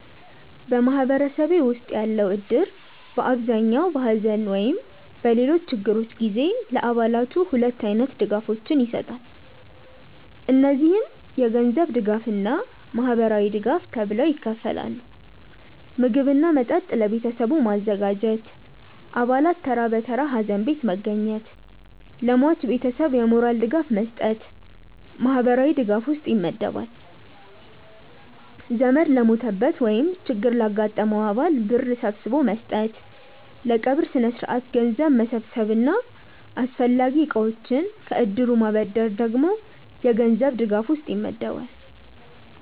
በማህበረሰቤ ውስጥ ያለው እድር በአብዛኛው በሐዘን ወይም በሌሎች ችግሮች ጊዜ ለአባላቱ ሁለት አይነት ድጋፎችን ይሰጣል። እነዚህም የገንዘብ እና ማህበራዊ ድጋፍ ተብለው ይከፈላሉ። ምግብ እና መጠጥ ለቤተሰቡ ማዘጋጀት፣ አባላት ተራ በተራ ሀዘን ቤት መገኘት፣ ለሟች ቤተሰብ የሞራል ድጋፍ መስጠት ማህበራዊ ድጋፍ ውስጥ ይመደባል። ዘመድ ለሞተበት ወይም ችግር ላጋጠመው አባል ብር ሰብስቦ መስጠት፣ ለቀብር ስነስርዓት ገንዘብ መሰብሰብ እና አስፈላጊ እቃዎችን ከእድሩ ማበደር ደግሞ የገንዘብ ድጋፍ ውስጥ ይመደባል።